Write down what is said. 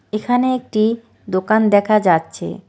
এখানে একটি দোকান দেখা যাচ্ছে।